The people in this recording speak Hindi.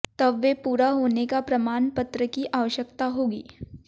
तब वे पूरा होने का प्रमाण पत्र की आवश्यकता होगी